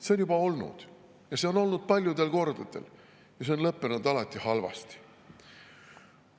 See on juba olnud ja see on olnud paljudel kordadel ja see on lõppenud alati halvasti.